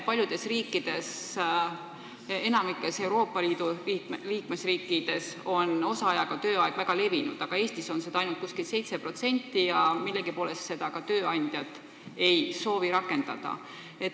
Paljudes riikides, sh enamikus Euroopa Liidu liikmesriikides, on osaajaga töötamine väga levinud, aga Eestis on seda ainult umbes 7% ja millegipärast ei soovi ka tööandjad seda kasutada.